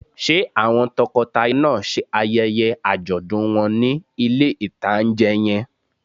Ṣé àwọn tọkọtaya náà ṣe ayẹyẹ àjọ̀dún wọn ní ilé-ìtánjẹ yẹn?